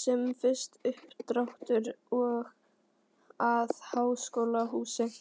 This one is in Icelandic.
sem fyrst uppdráttur að háskólahúsi.